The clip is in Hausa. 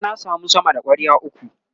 bara na samu sama da kwarya ukwu